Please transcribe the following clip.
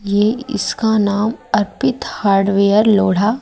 ये इसका नाम अर्पित हार्डवेयर लोहड़ा--